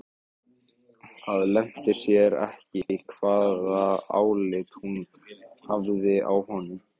Það leyndi sér ekki hvaða álit hún hafði á honum.